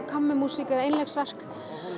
kammermúsík eða einleiksverk